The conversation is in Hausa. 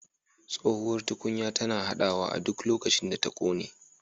Tsohuwar tukunya tana haɗawa a duk lokacin da ta ƙone